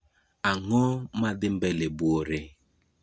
Ang'o madhii mbele buore